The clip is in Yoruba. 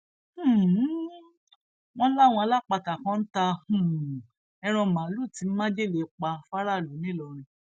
um wọn láwọn alápatà kan ń ta um ẹran màálùú tí májèlé pa fáráàlú ńìlọrin